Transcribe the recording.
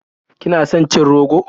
Kina son cin rogo?